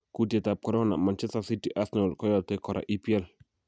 Kutietab Korona: Manchester city, Arsenal koyote kora EPL